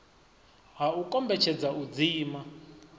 ha u kombetshedza u dzima